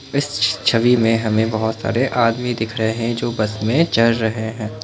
इस छवि में हमे बहोत सारे आदमी दिख रहे है जो बस मे चढ़ रहे है।